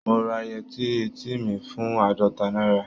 Mo ra yẹtí eti mi fún àádọ́ta náírà.